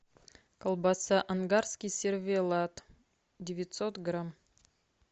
колбаса ангарский сервелат девятьсот грамм